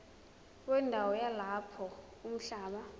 wendawo yalapho umhlaba